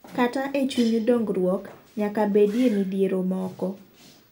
Kata e chuny dong'ruok ,nyaka bedie midhiero moko.